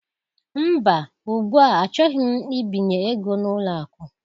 Mba, ugbu a, achọghị m mbinye ego n'ụlọ akụ